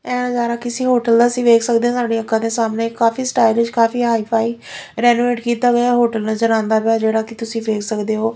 ਇਹ ਨਜ਼ਾਰਾ ਕਿਸੀ ਹੋਟਲ ਦਾ ਅਸੀ ਵੇਖ ਸਕਦੇ ਹਾਂ ਸਾਡੀ ਅੱਖਾਂ ਦੇ ਸਾਹਮਨੇ ਕਾਫੀ ਸਟਾਇਲਿਸ਼ ਕਾਫੀ ਹਾਈ ਫਾਈ ਰੇਨੋਵੇਟ ਕੀਤਾ ਗਿਆ ਹੋਟਲ ਨਜਰ ਆਂਦਾ ਪਿਆ ਐ ਜਿਹੜਾ ਕਿ ਤੁਸੀ ਵੇਖ ਸਕਦੇ ਹੋ।